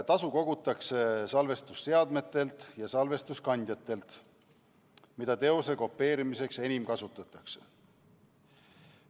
Tasu kogutakse salvestusseadmetelt ja salvestuskandjatelt, mida teose kopeerimiseks enim kasutatakse.